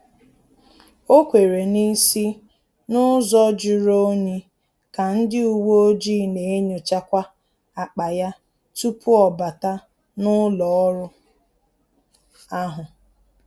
Ọ kwere n'isi n’ụzọ juru onyi ka ndị uweojii na-enyochakwa akpa ya tupu ọ bata n’ụlọ ọrụ ahụ